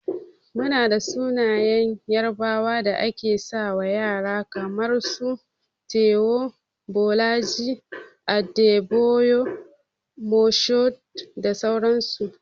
Muna da sunayen yarbawa da ake sawa ƴara kaman su, Taiwo, Bolaji, Adebayor Mashood da sauran su.